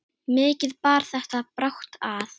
Mikið bar þetta brátt að.